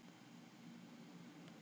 Náhvalir er grunnsævisdýr.